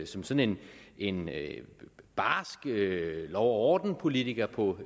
som som en en barsk lov og orden politiker på